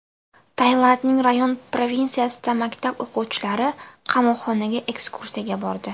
Tailandning Rayong provinsiyasida maktab o‘quvchilari qamoqxonaga ekskursiyaga bordi.